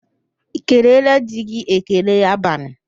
I keleela di gị​ ekele abalị?